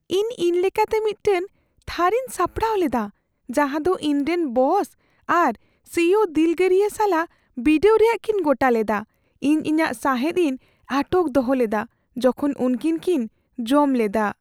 ᱤᱧ ᱤᱧᱞᱮᱠᱟᱛᱮ ᱢᱤᱫᱴᱟᱝ ᱛᱷᱟᱹᱨᱤᱧ ᱥᱟᱯᱲᱟᱣ ᱞᱮᱫᱟ ᱡᱟᱦᱟᱸ ᱫᱚ ᱤᱧᱨᱮᱱ ᱵᱚᱥ ᱟᱨ ᱥᱤᱭᱳ ᱫᱤᱞᱜᱟᱹᱨᱤᱭᱟᱹ ᱥᱟᱞᱟᱜ ᱵᱤᱰᱟᱹᱣ ᱨᱮᱭᱟᱜ ᱠᱤᱱ ᱜᱚᱴᱟ ᱞᱮᱫᱟ ᱾ ᱤᱧ ᱤᱧᱟᱹᱜ ᱥᱟᱦᱮᱫ ᱤᱧ ᱟᱴᱚᱠ ᱫᱚᱦᱚ ᱞᱮᱫᱟ ᱡᱚᱠᱷᱚᱱ ᱩᱱᱠᱤᱱ ᱠᱤᱱ ᱡᱚᱢ ᱞᱮᱫᱟ ᱾